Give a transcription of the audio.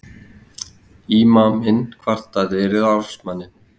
Ímaminn kvartaði við ráðsmanninn.